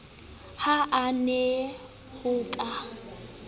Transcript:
ha a na ho ka